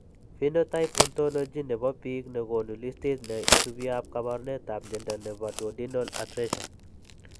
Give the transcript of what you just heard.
Phenotype Ontology ne po biik ko konu listiit ne isubiap kaabarunetap mnyando ne po Duodenal atresia.